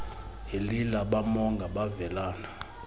elila bamonga bevelana